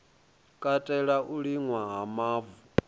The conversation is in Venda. katela u liṅwa ha mavu